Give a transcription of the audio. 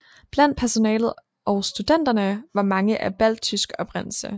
Blandt personalet og studenterne var mange af balttysk oprindelse